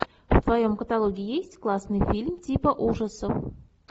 в твоем каталоге есть классный фильм типа ужасов